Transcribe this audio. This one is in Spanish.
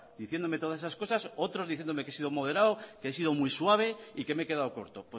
diciéndome esas todas esas cosas otros diciéndome que he sido moderado que he sido muy suave y que me he quedado corto